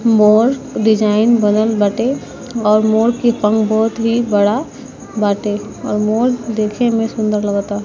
मोर design बनल बाटे और मोर के पंख बहुत ही बड़ा बाटे और मोर देखे में सुन्दर लगता।